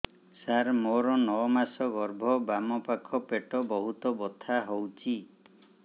ସାର ମୋର ନଅ ମାସ ଗର୍ଭ ବାମପାଖ ପେଟ ବହୁତ ବଥା ହଉଚି